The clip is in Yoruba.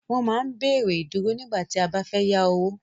Wọ́n máa ń béèrè Ìdúró nígbà tí a bá fẹ́ yá owó